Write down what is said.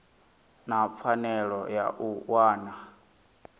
na pfanelo ya u wana